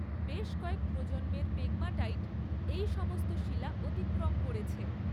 বেশ কয়েক প্রজন্মের পেগমাটাইট এই সমস্ত শিলা অতিক্রম করেছে।